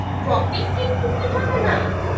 Topic কিন্তু change হবে না,